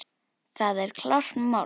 Það er klárt mál.